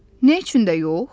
Nə üçün də yox?